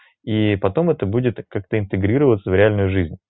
и потом это будет как-то интегрироваться в реальной жизни